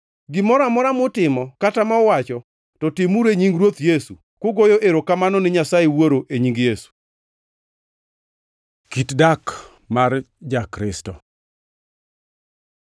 Gimoro amora mutimo kata ma uwacho, to timuru e nying Ruoth Yesu, kugoyo erokamano ni Nyasaye Wuoro e nying Yesu. Kit dak mar Ja-Kristo